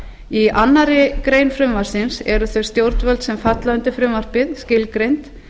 í annarri grein frumvarpsins eru þau stjórnvöld sem falla undir frumvarpið skilgreind